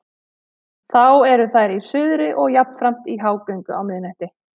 Þá eru þær í suðri og jafnframt í hágöngu á miðnætti.